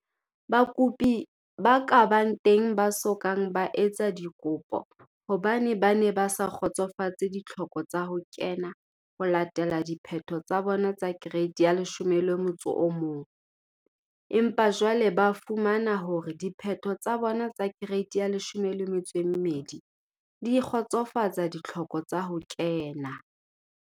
Bakopi ba ka bang teng ba so kang ba etsa dikopo hobane ba ne ba sa kgotsofatse ditlhoko tsa ho kena ho latela diphetho tsa bona tsa Kereiti ya 11 empa jwale ba fumana hore diphetho tsa bona tsa Kereiti ya 12 di kgotsofatsa ditlhoko tsa ho kena.